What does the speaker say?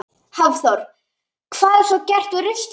Hafþór: Hvað er svo gert við ruslið?